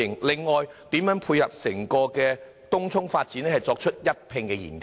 另外，政府如何配合整個東涌發展，一併進行研究？